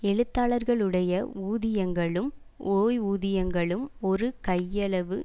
எழுத்தாளர்களுடைய ஊதியங்களும் ஓய்வூதியங்களும் ஒரு கையளவு